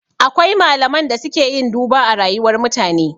Akwai malaman da suke yin duba a rayuwar mutane